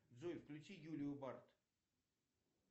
джой включи юлию барт